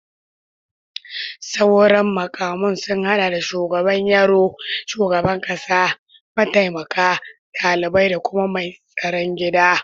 Sauran mukaman sun hada da shugaban yaro, shugaban kasa, mataimaka, dalibai, da kuma mai tsaron gida